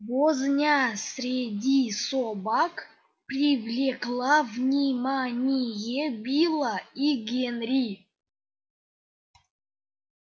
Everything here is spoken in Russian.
возня среди собак привлекла внимание билла и генри